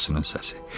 Xalasının səsi.